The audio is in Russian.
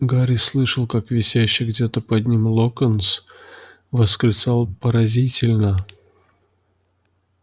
гарри слышал как висящий где-то под ним локонс восклицал поразительно